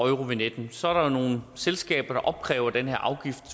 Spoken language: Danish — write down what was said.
eurovignetten så er nogle selskaber der opkræver den her afgift